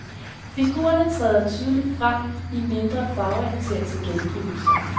Figurerne træder tydeligere frem i mindre farveintense gengivelser.